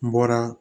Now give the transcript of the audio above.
N bɔra